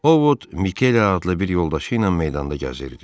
Ovod Mikele adlı bir yoldaşıyla meydanda gəzirdi.